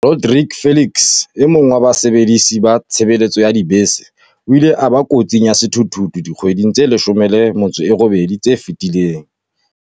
Rodrique Felix, e mong wa basebedisi ba tshebeletso ya dibese, o ile a ba kotsing ya sethuthuthu dikgweding tse 18 tse fetileng.